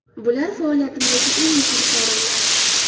Bular faoliyatimdagi eng muhim sovrinlar.